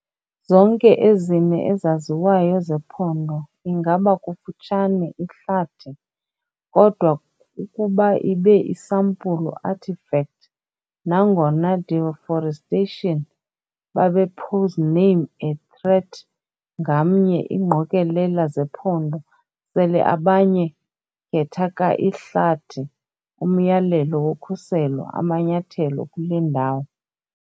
Zonke ezine ezaziwayo zephondo ingaba kufutshane ihlathi, kodwa ukuba ibe isampulu artifact. Nangona deforestation babe posename a threat, ngamnye ingqokelela zephondo sele abanye khetha ka-ihlathi umyalelo wokhuselo amanyathelo kule ndawo.